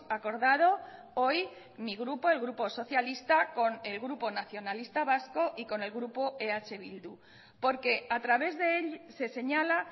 acordado hoy mi grupo el grupo socialista con el grupo nacionalista vasco y con el grupo eh bildu porque a través de él se señala